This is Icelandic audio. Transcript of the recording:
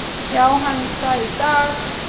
Já hann er það í dag!